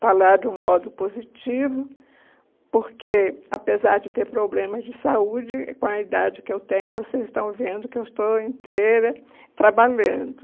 falar de um modo positivo, porque, apesar de ter problemas de saúde, com a idade que eu tenho, vocês estão vendo que eu estou inteira trabalhando.